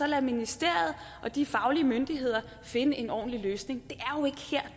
lade ministeriet og de faglige myndigheder finde en ordentlig løsning